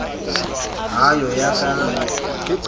d ha ho ya ka